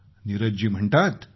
नीरज जी म्हणतात